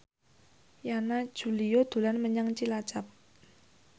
Yana Julio dolan menyang Cilacap